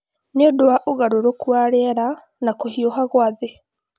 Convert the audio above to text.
nĩ ũndũ wa ũgarũrũku wa rĩera na kũhiũha kwa thĩ